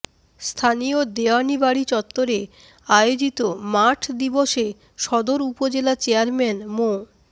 স্থানীয় দেওয়ানী বাড়ি চত্বরে আয়োজিত মাঠ দিবসে সদর উপজেলা চেয়ারম্যান মো